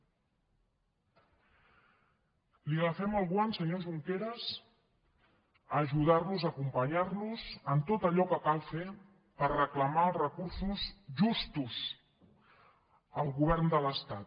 li agafem el guant senyor junqueras a ajudar los a acompanyar los en tot allò que cal fer per reclamar els recursos justos al govern de l’estat